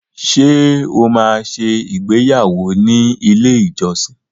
Ṣé o máa ṣe ìgbéyàwọ́ ní ilé-ìjọsìn?